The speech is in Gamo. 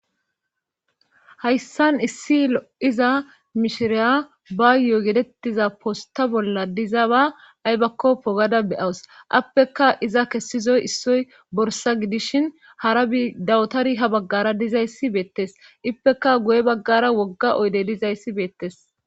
Hayssan issi lo'iza mishiriya bayo yetettiza posta bolla diza ba aybakko pogada beyawus appeka iza kessizoy issoy borsa gidishin hara bi dawutari ha baggara dizayssi beettes ippeka goye baggara wogga oydey dizayssi beettes